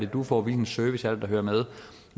du får hvilken service det er der hører med